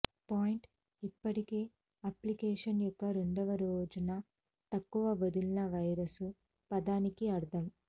point ఇప్పటికే application యొక్క రెండవ రోజున తక్కువ వదిలిన వైరస్లు పదానికి అర్ధం